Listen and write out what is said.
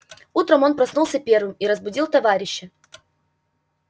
утром он проснулся первым и разбудил товарища